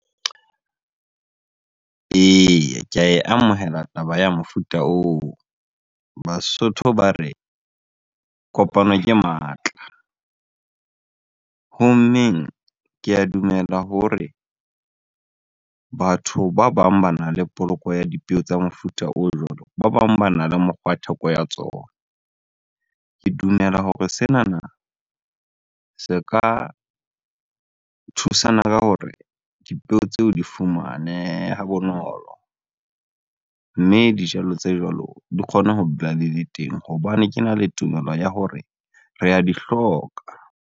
Eya, ke ae amohela taba ya mofuta oo. Basotho ba re, kopano ke matla. Ho mmeng, ke a dumela hore batho ba bang bana le poloko ya dipeo tsa mofuta o jwalo, ba bang bana le mokgwa theko ya tsona. Ke dumela hore senana se ka thusana ka hore dipeo tseo di fumanehe ha bonolo. Mme dijalo tse jwalo di kgone ho dula di le teng hobane kena le tumelo ya hore re a di hloka.